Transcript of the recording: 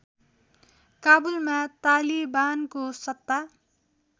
काबुलमा तालिबानको सत्ता